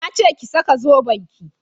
Na ce ki saka zoben ki!